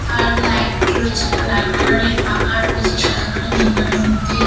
আর light রয়েছে একটা লাল কালার - এর পাখা রয়েছে সাদা কালার নীল কালার - এর মধ্যে--